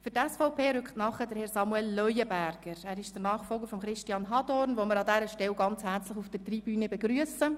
Für die SVP-Fraktion folgt Herr Samuel Leuenberger auf Herrn Christian Hadorn nach, den wir an dieser Stelle ganz herzlich auf der Tribüne begrüssen.